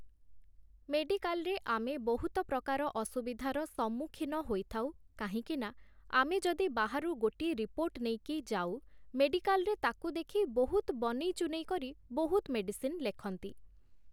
ମେଡିକାଲରେ ଆମେ ବହୁତ ପ୍ରକାର ଅସୁଵିଧାର ସମ୍ମୁଖୀନ ହୋଇଥାଉ କାହିଁକିନା, ଆମେ ଯଦି ବାହାରୁ ଗୋଟିଏ ରିପୋର୍ଟ ନେଇକି ଯାଉ ମେଡିକାଲରେ ତାକୁ ଦେଖି ବହୁତ ବନେଇଚୁନେଇ କରି ବହୁତ ମେଡିସିନ୍ ଲେଖନ୍ତି ।